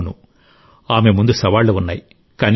అవును ఆమె ముందు సవాళ్లు ఉన్నాయి